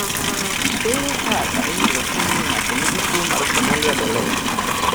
Ere kaka inyalo fweny ni ng'ato nigi tuwo mar Cornelia de Lange?